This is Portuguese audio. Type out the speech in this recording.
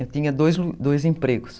Eu tinha dois dois empregos.